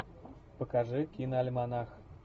покажи киноальманах